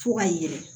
Fo ka yɛlɛ